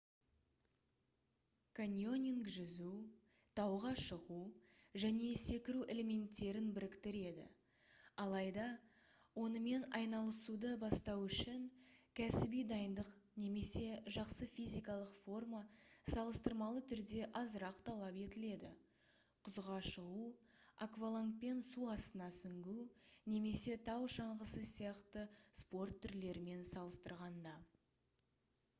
каньонинг жүзу тауға шығу және секіру элементтерін біріктіреді алайда онымен айналысуды бастау үшін кәсіби дайындық немесе жақсы физикалық форма салыстырмалы түрде азырақ талап етіледі құзға шығу аквалангпен су астына сүңгу немесе тау шаңғысы сияқты спорт түрлерімен салыстырғанда